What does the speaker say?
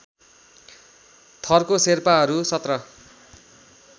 थरको शेर्पाहरू १७